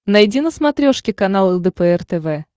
найди на смотрешке канал лдпр тв